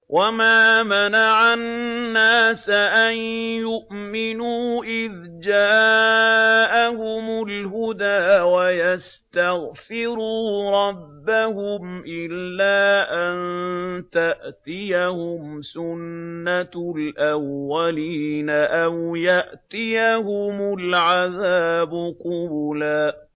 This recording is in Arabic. وَمَا مَنَعَ النَّاسَ أَن يُؤْمِنُوا إِذْ جَاءَهُمُ الْهُدَىٰ وَيَسْتَغْفِرُوا رَبَّهُمْ إِلَّا أَن تَأْتِيَهُمْ سُنَّةُ الْأَوَّلِينَ أَوْ يَأْتِيَهُمُ الْعَذَابُ قُبُلًا